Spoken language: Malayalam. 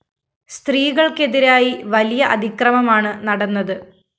സ്ത്രീകള്‍ക്കെതിരായി വലിയ അതിക്രമമാണ് നടന്നത്